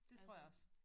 Dét tror jeg også